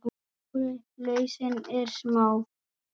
Stóra lausnin er smá!